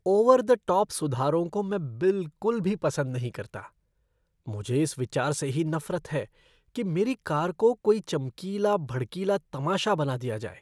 Over the top सुधारों को मैं बिलकुल भी पसंद नहीं करता। मुझे इस विचार से ही नफ़रत है कि मेरी कार को कोई चमकीला भड़कीला तमाशा बना दिया जाए।